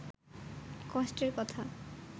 কষ্টের কথা